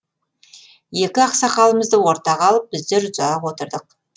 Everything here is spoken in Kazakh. екі ақсақалымызды ортаға алып біздер ұзақ отырдық